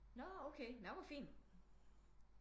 Nå okay nå hvor fint